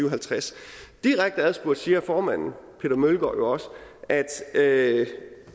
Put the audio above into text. og halvtreds direkte adspurgt siger formanden peter møllgaard jo også at